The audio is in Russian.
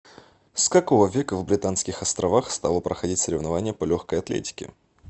с какого века в британских островах стало проходить соревнование по легкой атлетике